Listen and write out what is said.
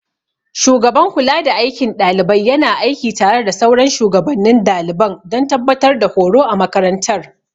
Shugaban kulada aikin ɗalibai yana aiki tare da sauran shugabannin daliban don tabbatar da horo a makarantar.